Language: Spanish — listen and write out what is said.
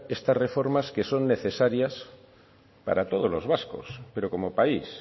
estar reformas que son necesarias para todos los vascos pero como país